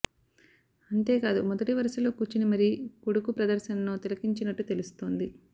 అంతేకాదు మొదటి వరుసలో కూర్చొని మరీ కొడుకు ప్రదర్శనను తిలకించినట్టు తెలుస్తోంది